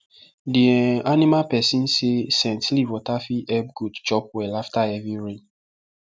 the um animal person say scent leaf water fit help goat chop well after heavy rain